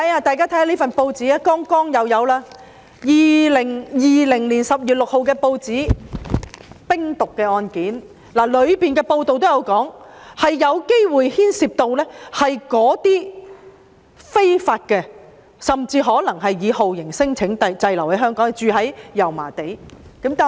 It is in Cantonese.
大家看看這份2020年10月6日的報章，香港又破獲冰毒案件，報道指案件有可能牽涉那些非法入境甚或是以酷刑聲請為由滯留香港、居住在油麻地的人士。